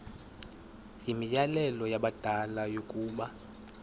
yimianelo yabadala yokaba